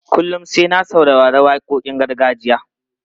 Kullum sai na saurari waƙoƙin gargajiya.